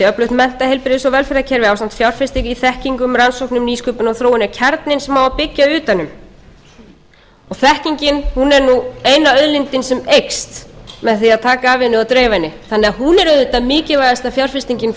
öflugt mennta heilbrigðis og velferðarkerfi ásamt fjárfestingu í þekkingu rannsóknum nýsköpun og þróun er kjarninn sem á að byggja utan um þekkingin er nú eina auðlindin sem eykst með því að taka af henni og dreifa henni þannig að hún er auðvitað mikilvægasta fjárfestingin